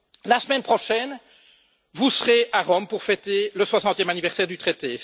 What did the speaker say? La semaine prochaine, vous serez à Rome pour fêter le 60e anniversaire du traité.